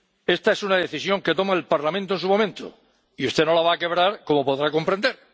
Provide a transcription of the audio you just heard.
Esta es una decisión que toma el Parlamento en su momento y usted no la va a quebrar, como podrá comprender.